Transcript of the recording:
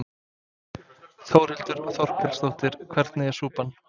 Þórhildur Þorkelsdóttir: Hvernig er súpan?